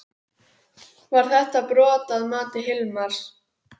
Var þetta brot að mati Hilmars?